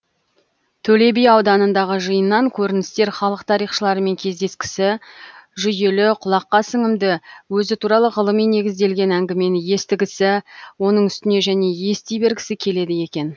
төле би ауданындағы жиыннан көріністер халық тарихшылармен кездескісі жүйелі құлаққа сіңімді өзі туралы ғылыми негізделген әңгімені естігісі оның үстіне және ести бергісі келеді екен